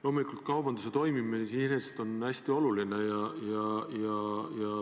Loomulikult kaubanduse toimimine iseenesest on hästi oluline.